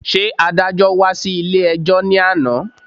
Ṣé adájọ́́ wá sí ilé-ẹjọ́ ní àná